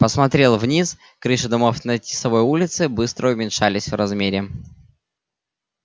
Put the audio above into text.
посмотрел вниз крыши домов на тисовой улице быстро уменьшались в размере